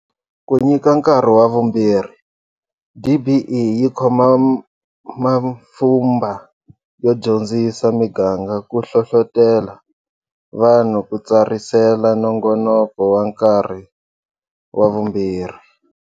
Ku nyika nkarhi wa vumbirhi, DBE yi khoma mapfhumba yo dyondzisa miganga ku hlohlotela vanhu ku tsarisela nongonoko wa Nkarhi wa Vumbirhi.